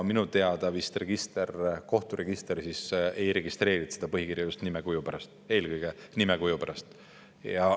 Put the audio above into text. Minu teada kohturegister ei registreerinud seda põhikirja eelkõige nimekuju pärast.